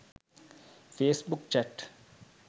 face book chat